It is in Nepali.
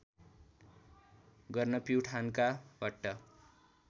गर्न प्युठानका भट्ट